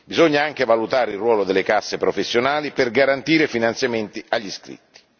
Bisogna anche valutare il ruolo delle casse professionali per garantire finanziamenti agli iscritti.